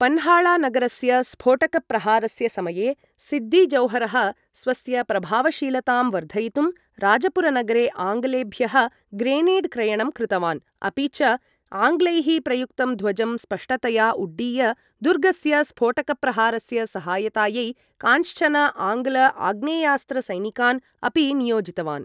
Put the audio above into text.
पन्हाळा नगरस्य स्फोटकप्रहारस्य समये, सिद्दी जौहरः, स्वस्य प्रभावशीलतां वर्धयितुं राजपुरनगरे आङ्ग्लेभ्यः ग्रेनेड् क्रयणं कृतवान्, अपि च आङ्ग्लैः प्रयुक्तं ध्वजं स्पष्टतया उड्डीय दुर्गस्य स्फोटकप्रहारस्य सहायतायै कांश्चन आङ्ग्ल आग्नेयास्त्र सैनिकान् अपि नियोजितवान्।